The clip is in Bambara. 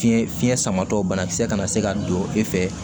Fiɲɛ fiɲɛ samatɔ banakisɛ kana se ka don e fɛ